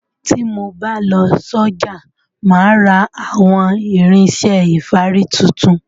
Tí mo bá lọ sọ́jà máa ra àwọn irinṣẹ́ ìfárí tuntun.